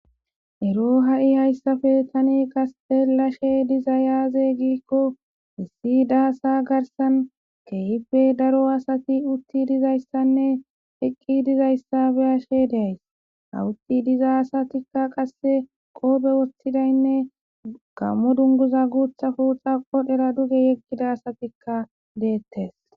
ero ha7i hayssafe tani qastelashe dizayaaze giikko hissi daasa garsan keehipe daro asati utti dizayssanne eqqi dizayssabe ashe deays hawutti diza asatikka qasse qoobe wostidaynne gammo dunguza guuthafu xaqodhera duge yeggida asatikka deettes